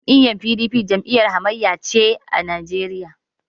Jam'iyyar PDP jam'iyyar hamayya ce a Najeriya.